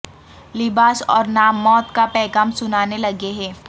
لباس اور نام موت کا پیغام سنانے لگے ہیں